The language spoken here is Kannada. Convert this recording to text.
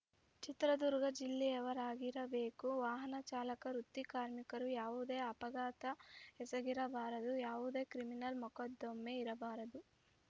ಚಿತ್ರದುರ್ಗ ಜಿಲ್ಲೆಯವರಾಗಿರಬೇಕು ವಾಹನ ಚಾಲಕ ವೃತ್ತಿ ಕಾರ್ಮಿಕರು ಯಾವುದೇ ಅಪಘಾತ ಎಸಗಿರಬಾರದು ಯಾವುದೇ ಕ್ರಿಮಿನಲ್‌ ಮೊಕದ್ದಮೆ ಇರಬಾರದು